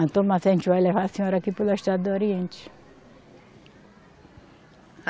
Então, mas a gente vai levar a senhora aqui pela estrada do Oriente.